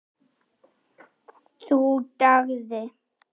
Það dugði.